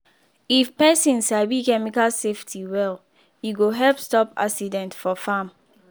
if person sabi chemical safety well e go help stop accident for farm.